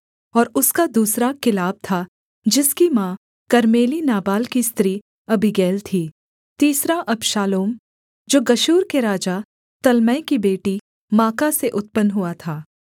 और उसका दूसरा किलाब था जिसकी माँ कर्मेली नाबाल की स्त्री अबीगैल थी तीसरा अबशालोम जो गशूर के राजा तल्मै की बेटी माका से उत्पन्न हुआ था